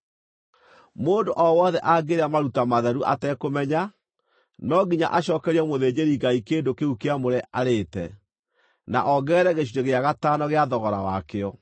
“ ‘Mũndũ o wothe angĩrĩa maruta matheru atekũmenya, no nginya acookerie mũthĩnjĩri-Ngai kĩndũ kĩu kĩamũre arĩĩte na ongerere gĩcunjĩ gĩa gatano gĩa thogora wakĩo.